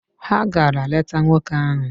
Ha gara leta nwoke ahụ.